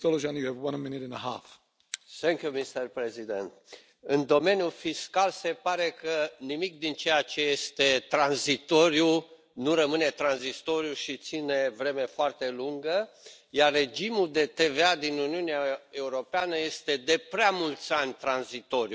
Domnule Președinte, în domeniul fiscal se pare că nimic din ceea ce este tranzitoriu nu rămâne tranzitoriu și ține vreme foarte lungă, iar regimul de TVA din Uniunea Europeană este de prea mulți ani tranzitoriu.